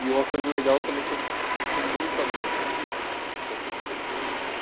E uma coisa legal também é que eu sou muito amigo de dessas pessoas, assim.